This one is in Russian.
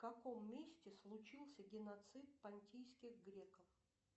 в каком месте случился геноцид понтийских греков